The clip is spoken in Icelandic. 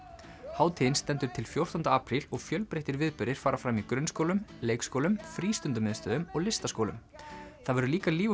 hátíðin stendur til fjórtánda apríl og fjölbreyttir viðburðir fara fram í grunnskólum leikskólum og listaskólum það verður líka líf og